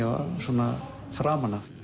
svona framan af